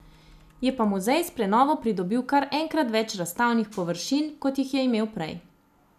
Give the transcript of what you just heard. Je pa muzej s prenovo pridobil kar enkrat več razstavnih površin, kot jih je imel prej.